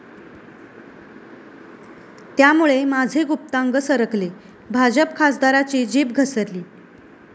...त्यामुळे माझे गुप्तांग सरकले, भाजप खासदाराची जीभ घसरली